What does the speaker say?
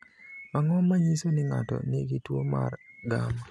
Ang’o ma nyiso ni ng’ato nigi tuwo mar gamma?